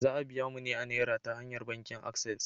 Za a biya mu ne a Naira ta hanyar bankin Access.